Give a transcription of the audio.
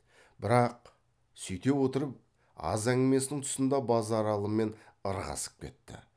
бірақ сүйте отырып аз әңгімесінің тұсында базаралымен ырғасып кетті